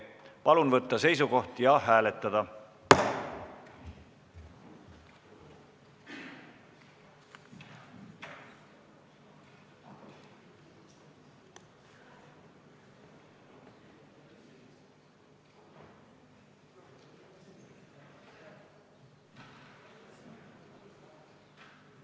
Palun võtta seisukoht ja hääletada!